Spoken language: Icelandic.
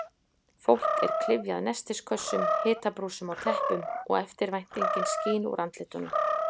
Fólk er klyfjað nestiskössum, hitabrúsum og teppum og eftirvæntingin skín úr andlitunum.